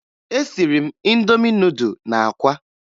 Esiri m Indomi nudụ na akwa